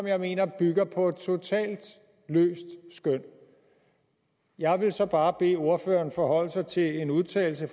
jeg mener bygger på et totalt løst skøn jeg vil så bare bede ordføreren forholde sig til en udtalelse